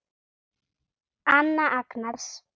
Anna Agnars.